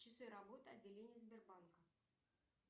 часы работы отделения сбербанка